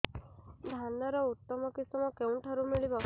ଧାନର ଉତ୍ତମ କିଶମ କେଉଁଠାରୁ ମିଳିବ